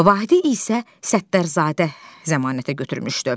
Vahidi isə Səttərzadə zəmanətə götürmüşdü.